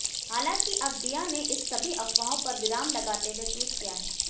हालांकि अब दीया ने इस सभी अफवाहों पर विराम लगाते हुए ट्वीट किया है